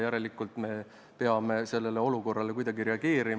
Järelikult peame sellele olukorrale kuidagi reageerima.